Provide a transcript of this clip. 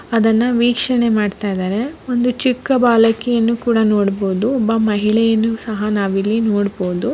ಅದನ್ನ ವೀಕ್ಷಣೆ ಮಾಡ್ತಾ ಇದ್ದಾರೆ ಒಂದು ಚಿಕ್ಕ ಬಾಲಕಿಯನ್ನು ಕೂಡ ನೋಡಬಹುದು ಒಬ್ಬ ಮಹಿಳೆಯನ್ನು ಸಹ ನಾವಿಲ್ಲಿ ನೋಡಬಹುದು.